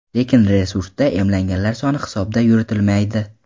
Lekin resursda emlanganlar soni hisobi yuritilmaydi.